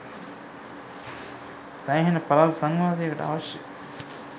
සෑහෙන පළල් සංවාදයකට අවශ්‍ය